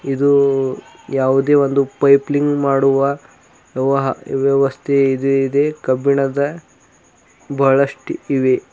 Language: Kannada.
ಇದು ಯಾವುದೇ ಒಂದು ಪೈಪ್ಲಿಂಗ್ ಮಾಡುವ ವ್ಯವಹ ವ್ಯವಸ್ಥೆ ಇದೆ ಇದೆ ಕಬ್ಬಿಣದ ಬಹಳಷ್ಟ್ ಇವೆ.